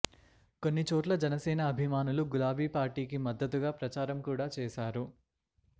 కొన్నిచోట్ల జనసేన అభిమానులు గులాబీ పార్టీకి మద్దతుగా ప్రచారం కూడా చేశారు